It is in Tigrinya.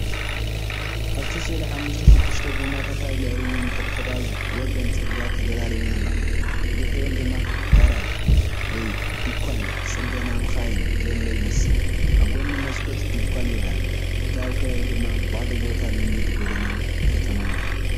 ኣብቲ ስእሊ ሓሙሽተ ሽዱሽተ ጎማታት ኣብ ልዕሊ ነንሕድሕደን ኣብ ወሰን ጽርግያ ተደራሪበን ኣለዋ። ብድሕሪኦም ድማ ጋራጅ ወይ ድኳን ጽገና መካይን ዘሎ ይመስል። ብጎኒ መስኮት ድኳን ይርአ፣ እቲ ከባቢ ድማ ባዶ ቦታን ልሙድ ጎደና ከተማን ይመስል።